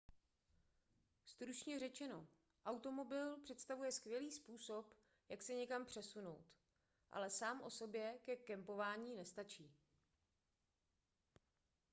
stručně řečeno automobil představuje skvělý způsob jak se někam přesunout ale sám o sobě ke kempování nestačí